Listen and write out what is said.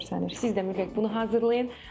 Siz də mütləq bunu hazırlayın.